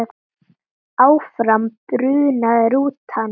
Áfram brunaði rútan.